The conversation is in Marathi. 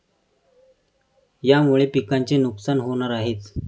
यामुळे पिकांचे नुकसान होणार आहेच.